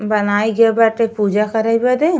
बनाई के बाटे पूजा करे बदे।